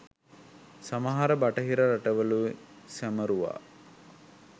සමහර බටහිර රටවලුයි සැමරුවා